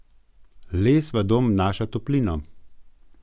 Les v dom vnaša toplino.